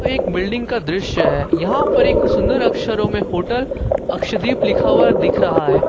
एक बिल्डिंग का दृश्य है यहां पर एक सुंदर अक्षरों में होटल अक्ष दीप लिखा हुआ दिख रहा है।